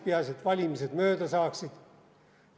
Peaasi, et valimised mööda saaksid.